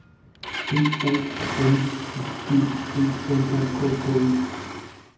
B O L I G B L O K K E